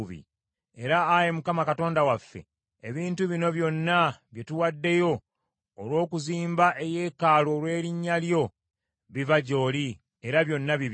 Era Ayi Mukama Katonda waffe, ebintu bino byonna bye tuwaddeyo olw’okuzimba eyeekaalu ku lw’erinnya lyo, biva gy’oli, era byonna bibyo.